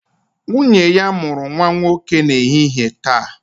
Nwunye ya mụrụ nwa nwoke n'ehihie taa